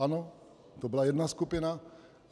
Ano, to byla jedna skupina.